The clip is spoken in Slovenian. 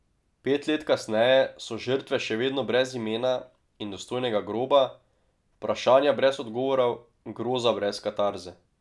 Pet let kasneje so žrtve še vedno brez imena in dostojnega groba, vprašanja brez odgovorov, groza brez katarze.